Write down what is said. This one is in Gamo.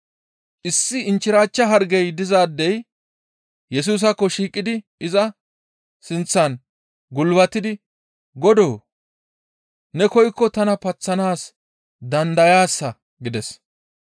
Issi inchchirachcha hargey dizaadey Yesusaakko shiiqidi iza sinththan gulbatidi, «Godoo! Ne koykko tana paththanaas dandayaasa» gides.